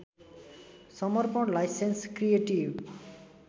समर्पण licence creative